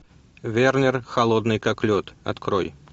вернер холодный как лед открой